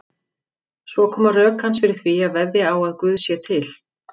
Svo koma rök hans fyrir því að veðja á að Guð sé til.